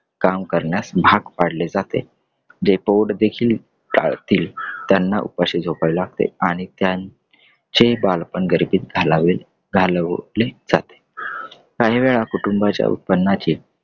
काम करण्यास भाग पाडले जाते. ते पोट देखील टळतील त्यांना उपाशी झोपाय लागते. आणि त्यांचे बालपण गरिबीत घालावे घालवले जाते . काही वेळा कुटुंबाच्या उत्पन्नाची